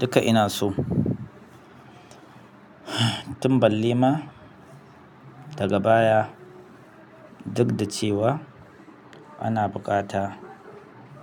Duka ina so. Tun balle ma daga baya duk da cewa ana buƙata